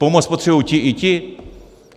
Pomoc potřebuji ti i ti.